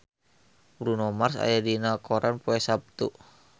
Bruno Mars aya dina koran poe Saptu